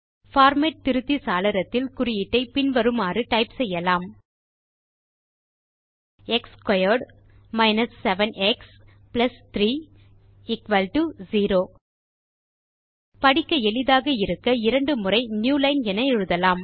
format திருத்தி சாளரத்தில் குறியீட்டை பின் வருமாறு டைப் செய்யலாம் x squared minus 7 x plus 3 0 படிக்க எளிதாக இருக்க இரண்டு முறை நியூலைன் என எழுதலாம்